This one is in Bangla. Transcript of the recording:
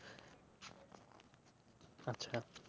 আচ্ছা